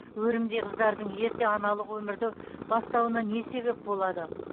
өрімдей қыздардың ерте аналық өмірді бастауына не себеп болады